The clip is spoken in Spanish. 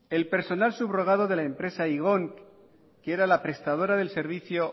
el personal subrogado de la empresa igon que era la prestadora del servicio